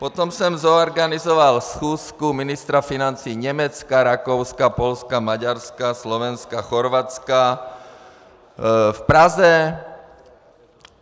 Potom jsem zorganizoval schůzku ministra financí Německa, Rakouska, Polska, Maďarska, Slovenska, Chorvatska v Praze.